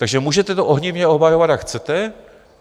Takže můžete to ohnivě obhajovat, jak chcete.